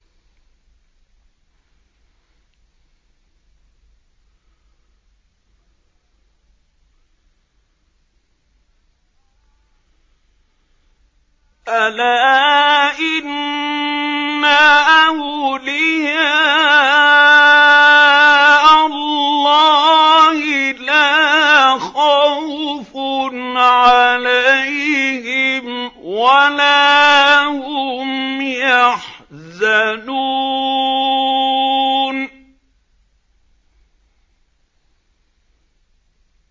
أَلَا إِنَّ أَوْلِيَاءَ اللَّهِ لَا خَوْفٌ عَلَيْهِمْ وَلَا هُمْ يَحْزَنُونَ